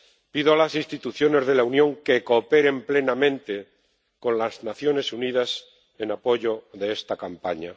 Pido a las instituciones de la Unión que cooperen plenamente con las Naciones Unidas en apoyo de esta campaña.